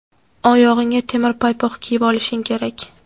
oyog‘ingga temir paypoq kiyib olishing kerak.